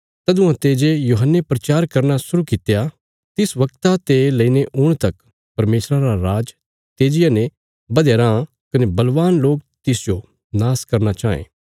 तदुआं ते जे यूहन्ने प्रचार करना शुरु कित्या तिस वगता ते लेईने हुण तक परमेशरा रा राज तेजिया ने बधया राँ कने बलवान लोक तिसजो नाश करना चाँये